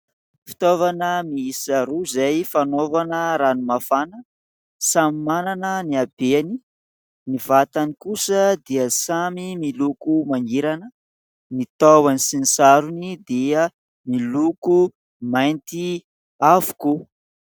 Fitaovana miisa roa izay fanaovana rano mafana, samy manana ny habeany, ny vatany kosa dia samy miloko mangirana, ny tahony sy ny sarony dia miloko mainty avokoa.